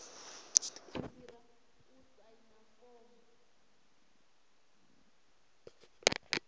i fhira u saina fomo